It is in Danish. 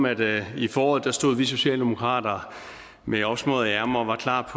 at i foråret stod vi socialdemokrater med opsmøgede ærmer og var klar